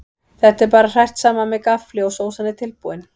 Þetta er bara hrært saman með gaffli og sósan er tilbúin.